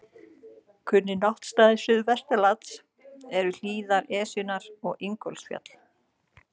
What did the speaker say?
Kunnir náttstaðir suðvestan lands eru hlíðar Esjunnar og Ingólfsfjall.